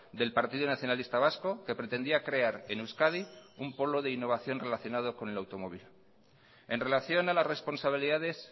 del partido nacionalista vasco que pretendía crear en euskadi un polo de innovación relacionado con el automóvil en relación a las responsabilidades